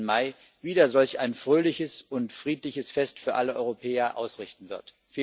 13. Mai, wieder solch ein fröhliches und friedliches Fest für alle Europäer ausrichten wird.